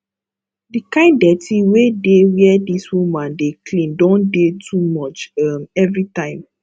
the kind dirty wey dey where this woman dey clean don dey too much um everytime